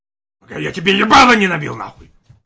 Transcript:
а я тебе не могу не набил нахуй